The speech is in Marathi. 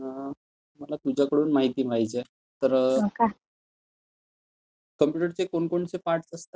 मला तुझ्याकडून माहिती पाहिजे तर कॉम्प्युटरचे कोणकोणते पार्टस असतात?